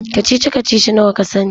Kacici-kacici nawa ka sani?